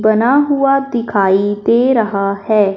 बना हुआ दिखाई दे रहा है।